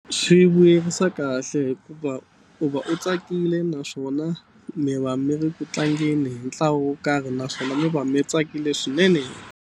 Swi vuyerisa kahle hikuva u va u tsakile naswona mi va mi ri ku tlangeni hi ntlawa wo karhi naswona mi va mi tsakile swinene.